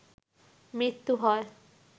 মৃত্যু হয়